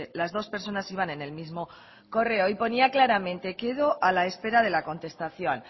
las dos personas iban en el mismo correo y ponía claramente quedo a la espera de la contestación